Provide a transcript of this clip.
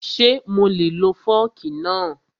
Ṣé mo lè lo fọ́ọ̀kì náà?